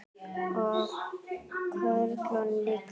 Og körlum líka.